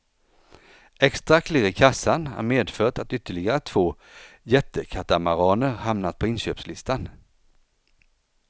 Extra klirr i kassan har medfört att ytterligare två jättekatamaraner hamnat på inköpslistan.